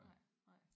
Nej nej